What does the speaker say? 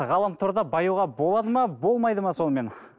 ғаламторда баюға болады ма болмайды ма сонымен